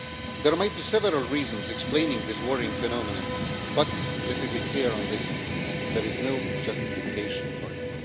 There might be several reasons explaining this worrying phenomenon, but let me be clear on this, there is no justification for it.